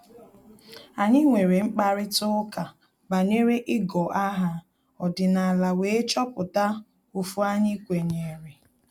Anyị nwere mkparịta ụka banyere igọ aha ọdịnala wee chọpụta ofu anyị kwenyere